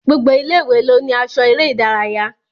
Gbogbo àwọn ilé-ìwé ló ní aṣọ eré ìdárayá